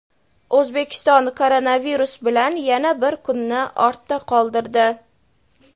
O‘zbekiston koronavirus bilan yana bir kunni ortda qoldirdi.